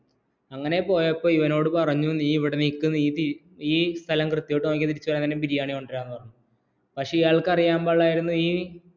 അങ്ങനെ പോയപ്പോള്‍ ഇവനോട് പറഞ്ഞു നീ ഇവിടെനിക്ക് നീ ഈ സ്ഥലം വൃത്തിയാക്കിയാല്‍ തിരിച്ചുവന്നാല്‍ ബിരിയാണി കൊണ്ടുവരാമെന്ന് പക്ഷേ ഇയാള്‍ക്ക് അറിയാന്‍ പാടില്ലായിരുന്നു